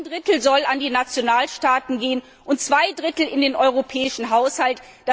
Ein Drittel soll an die Nationalstaaten gehen und zwei Drittel in den Europäischen Haushalt.